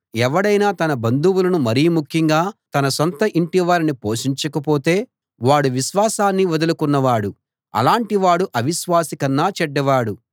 ఎవడైనా తన బంధువులను మరి ముఖ్యంగా తన స్వంత ఇంటివారిని పోషించకపోతే వాడు విశ్వాసాన్ని వదులుకున్న వాడు అలాటివాడు అవిశ్వాసి కన్నా చెడ్డవాడు